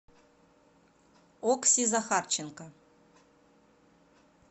окси захарченко